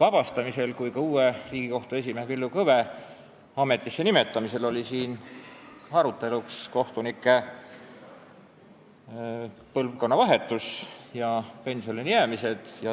vabastamisel kui ka uue Riigikohtu esimehe Villu Kõve ametisse nimetamisel oli siin arutelu all kohtunike põlvkonnavahetus ja pensionile jäämine.